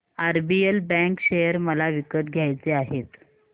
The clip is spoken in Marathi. आरबीएल बँक शेअर मला विकत घ्यायचे आहेत